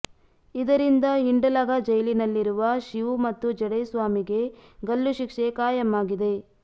ಇದರಿಂದ ಹಿಂಡಲಗಾ ಜೈಲಿನಲ್ಲಿರುವ ಶಿವು ಮತ್ತು ಜಡೇಸ್ವಾಮಿಗೆ ಗಲ್ಲು ಶಿಕ್ಷೆ ಖಾಯಂ ಆಗಿದೆ